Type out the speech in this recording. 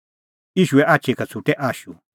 ईशूए आछी का छ़ुटै आशू